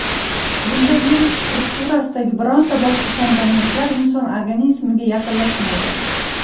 Bunda virus strukturasidagi bironta boshqa komponentlar inson organizmiga yaqinlashmaydi.